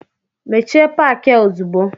Mechie paki a ozugbo!